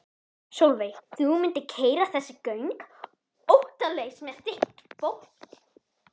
Sólveig: Þú mundir keyra þessi göng óttalaus með þitt fólk?